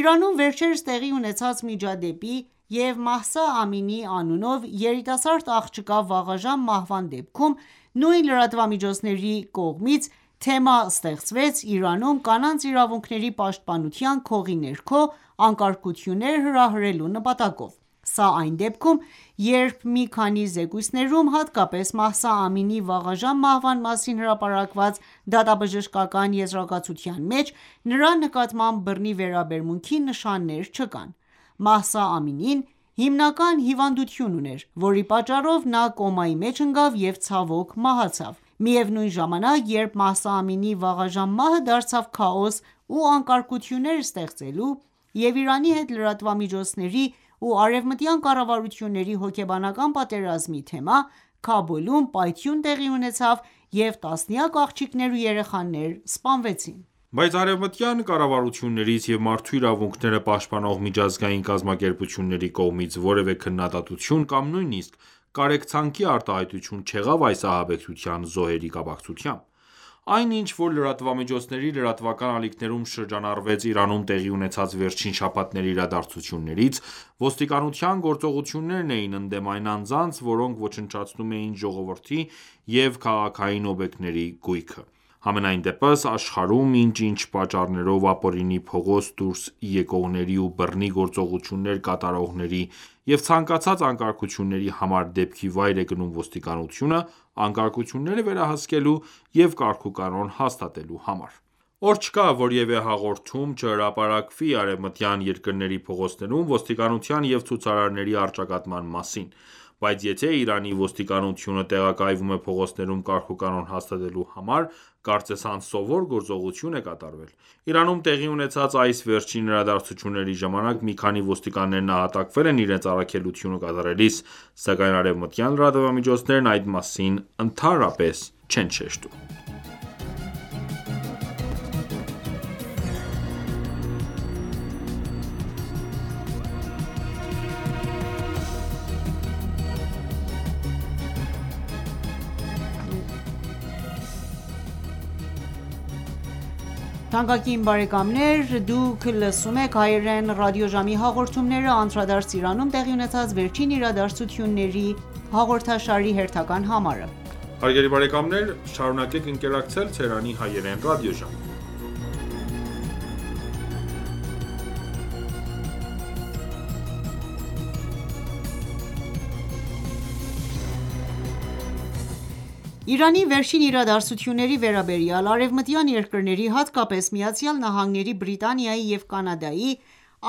Իրանում վերջերս տեղի ունեցած միջադեպի և Մահսա Ամինի անունով երիտասարդ աղջկա վաղաժամ մահվան դեպքում, նույն լրատվամիջոցների կողմից թեմա ստեղծվեց Իրանում կանանց իրավունքների պաշտպանության քողի ներքո, անկարգություններ հրահրելու նպատակով: Սա այն դեպքում, երբ մի քանի զեկույցներում, հատկապես Մահսա Ամինիի վաղաժամ մահվան մասին հրապարակված դատաբժշկական եզրակացության մեջ, նրա նկատմամբ բռնի վերաբերմունքի նշաններ չկան։ Մահսա Ամինին հիմնական հիվանդություն ուներ, որի պատճառով նա կոմայի մեջ ընկավ և, ցավոք, մահացավ: Միևնույն ժամանակ, երբ Մահսա Ամինիի վաղաժամ մահը դարձավ քաոս ու անկարգություններ ստեղծելու և Իրանի հետ լրատվամիջոցների ու արևմտյան կառավարությունների հոգեբանական պատերազմի թեմա, Քաբուլում պայթյուն տեղի ունեցավ, և տասնյակ աղջիկներ ու երեխաներ սպանվեցին։ Բայց արևմտյան կառավարություններից և մարդու իրավունքները պաշտպանող միջազգային կազմակերպությունների կողմից որևէ քննադատություն կամ նույնիսկ կարեկցանքի արտահայտություն չեղավ այս ահաբեկչության զոհերի կապակցությամբ։ Այն ինչ որ լրատվամիջոցների լրատվական ալիքներում շրջանառվեց Իրանում տեղի ունեցած վերջին շաբաթների իրադարձություններից, ոստիկանության գործողություններ էին ընդդեմ այն անձանց որոնք ոչնչացնում էին ժողովրդի և քաղաքային օբյեկտների գույքը: Համենայնդեպս, աշխարհում, ինչ-ինչ պատճառներով ապօրինի փողոց դուրս եկողների ու բռնի գործողություններ կատարողների և ցանկացած անկարգությունների համար, դեպքի վայր է գնում ոստիկանությունը՝ անկարգությունները վերահսկելու և կարգուկանոն հաստատելու համար։ Օր չկա որևէ հաղորդում չհրապարակվի արևմտյան երկրների փողոցներում ոստիկանության և ցուցարարների առճակատման մասին: Բայց եթե Իրանի ոստիկանությունը տեղակայվում է փողոցներում կարգուկանոն հաստատելու համար, կարծես անսովոր գործողություն է կատարվել։ Իրանում տեղի ունեցած այս վերջին իրադարձությունների ժամանակ մի քանի ոստիկաններ նահատակվել են իրենց առաքելությունը կատարելիս, սակայն արևմտյան լրատվամիջոցներն այդ մասին ընդհանրապես չեն նշում։ Իրանի վերջին իրադարձությունների վերաբերյալ Արևմտյան երկրների, հատկապես ԱՄՆ-ի, Բրիտանիայի և Կանադայի